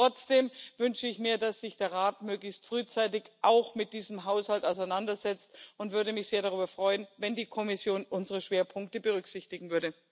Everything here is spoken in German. Trotzdem wünsche ich mir, dass sich der Rat möglichst frühzeitig auch mit diesem Haushalt auseinandersetzt, und würde mich sehr darüber freuen, wenn die Kommission unsere Schwerpunkte berücksichtigen würde.